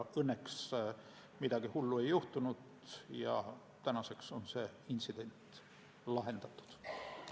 Õnneks aga midagi hullu ei juhtunud ja tänaseks on see intsident lahendatud.